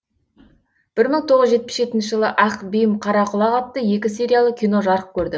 бір мың тоғыз жүз жетпіс жетінші жылы ақ бим қара құлақ атты екі сериялы кино жарық көрді